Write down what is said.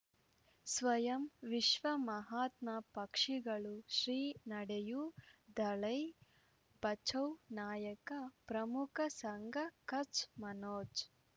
ಸ್ವಯಂ ವಿಶ್ವ ಮಹಾತ್ಮ ಪಕ್ಷಿಗಳು ಶ್ರೀ ನಡೆಯೂ ದಲೈ ಬಚೌ ನಾಯಕ ಪ್ರಮುಖ ಸಂಘ ಕಚ್ ಮನೋಜ್